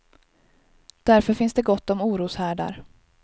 Därför finns det gott om oroshärdar.